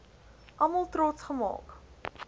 almal trots gemaak